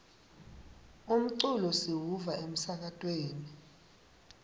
umculo siwuva emsakatweni